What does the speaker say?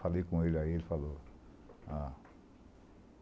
Falei com ele aí, ele falou. Ah